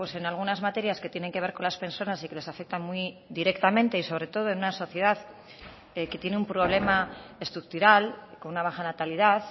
en algunas materias que tienen que ver con las personas y que les afectan muy directamente y sobre todo en una sociedad que tiene un problema estructural con una baja natalidad